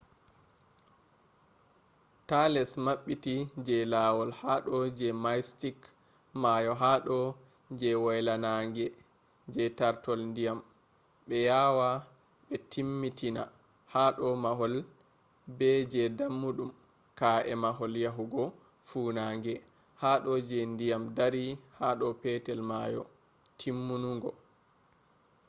ta less mabbiti je lawol hado je mystic mayo hado je waylannange je tartol diyam be yawa be timmitina hado mahol be je dammudum ka’e mahol yahugo funange hado je diyam dari hado petel mayo. timmunungo